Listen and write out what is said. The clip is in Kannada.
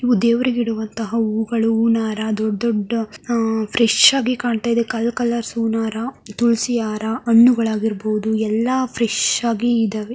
ದೇವರಿಗೆ ಇಡುವಂತ ಹೂವಗಳು. ಹೂವಿನಹಾರ ದೊಡ್ಡ ದೊಡ್ಡ ಆಹ್ ಫ್ರೆಶ್ ಆಗಿ ಕಾಣ್ತಾ ಇದೆ ಕಲ್ ಕಲರ್ಸ್ ಹೂನ್ ಹಾರ ತುಳುಸಿ ಹಾರ ಹಣ್ಣುಗಳಾಗಿರಬಹುದು ಎಲ್ಲಾ ಫ್ರೇಶ್ ಆಗಿ ಇದ್ದಾವೆ.